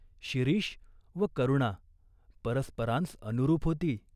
शिरीष व करुणा परस्परांस अनुरूप होती.